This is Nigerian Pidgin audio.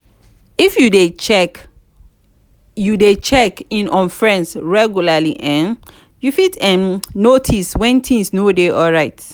if you de check you de check in on friends regularly um you fit um notice when things no de alright